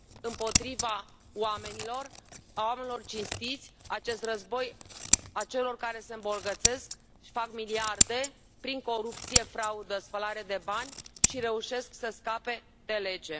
împotriva oamenilor, a oamenilor cinstiți, acest război al celor care se îmbogățesc și fac miliarde prin corupție, fraudă, spălare de bani și reușesc să scape de lege.